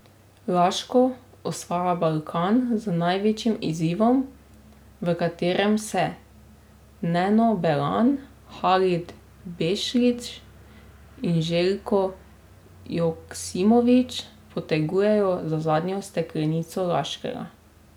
Laško osvaja Balkan z največjim izzivom, v katerem se Neno Belan, Halid Bešlić in Željko Joksimović potegujejo za zadnjo steklenico Laškega.